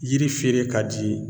Yiri feere ka di